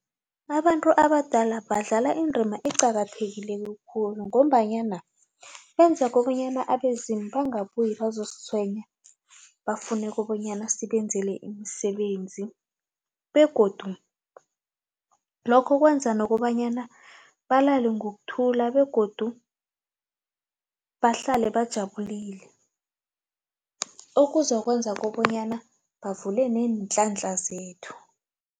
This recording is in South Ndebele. Abantu abadala badlala indima eqakathekileko khulu ngombanyana benza kobanyana abezimu bangabuye bazositshwenyi bafune kobonyana sibenzele imisebenzi begodu lokho kwenza nokobanyana balale ngokuthula begodu bahlale bajabulile okuzokwenza kobanyana bavule neenhlanhla zethu.